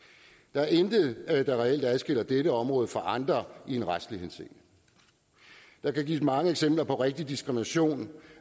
der er intet der reelt adskiller dette område fra andre i retslig henseende der kan gives mange eksempler på rigtig diskrimination